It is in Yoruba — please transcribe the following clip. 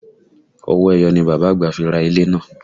Owó ẹyọ ni Bàbá àgbà fi ra ilẹ̀ náà